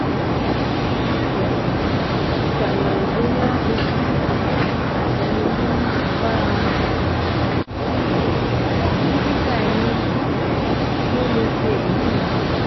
Jọ̀wọ́ ṣàyẹ̀wò bóyá ètè um àti imú ń bára wọn ṣepọ̀; um dókítà eyín um ló lè ṣe èyí